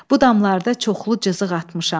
Bu damlarda çoxlu cızıq atmışam.